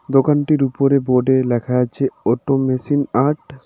দোকানটির উপরে বোর্ড -এ লেখা আছে অটোমেশিন আর্ট ।